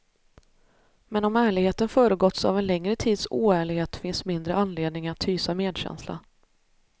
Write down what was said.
Men om ärligheten föregåtts av en längre tids oärlighet finns mindre anledning att hysa medkänsla.